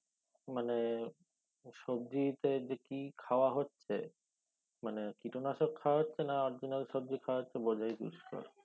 মানে সবজিতে কি খাওয়া হচ্ছে মানে কীটনাশক খাওয়া হচ্ছে না original সবজি খাওয়া হচ্ছে বোঝায় দুষ্কর